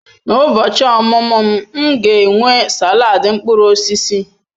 N'ụbochi ọmụmụ m, m ga-enwe salad mkpụrụ osisi.